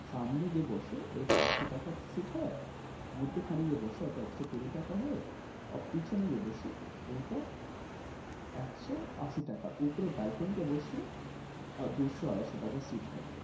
সামনে যে বসে ওইটা আশি টাকার seat হয়। মধ্যেখানে যে বসে ওটা একশো কুড়ি টাকা হয়। আর পিছনে যে বসে ওইটা একশো আশি টাকা। উপরে balcony তে বসলে আহ দুশো আড়াইশো টাকা seat হবে।